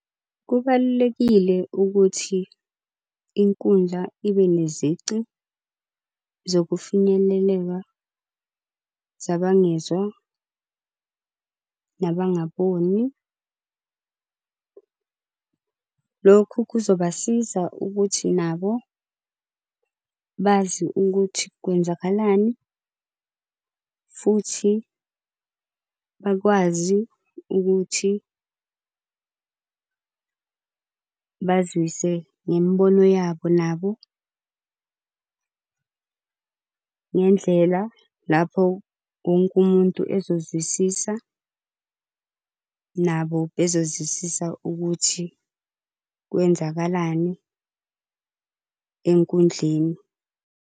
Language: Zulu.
Kubalulekile ukuthi inkundla ibe nezici zokufinyeleleka zabangezwa, nabangaboni. Lokhu kuzobasiza ukuthi nabo bazi ukuthi kwenzakalani futhi bakwazi ukuthi bazise ngemibono yabo nabo, ngendlela lapho wonke umuntu ezozwisisa nabo bezozwisisa ukuthi kwenzakalani enkundleni.